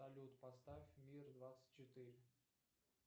салют поставь мир двадцать четыре